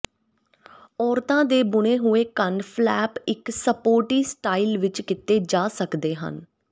ਔਰਤਾਂ ਦੇ ਬੁਣੇ ਹੋਏ ਕੰਨ ਫਲੈਪ ਇਕ ਸਪੋਰਟੀ ਸਟਾਈਲ ਵਿਚ ਕੀਤੇ ਜਾ ਸਕਦੇ ਹਨ